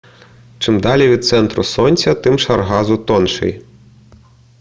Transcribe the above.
чим далі від центру сонця тим шар газу тонший